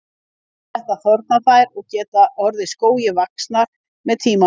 Við þetta þorna þær og geta orðið skógi vaxnar með tímanum.